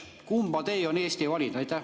Kumma tee on Eesti valinud?